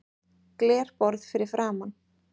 Glerborð fyrir framan.